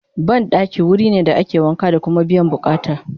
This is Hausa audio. banɗaki wurine da ake wanka da Kuma biyan buƙatan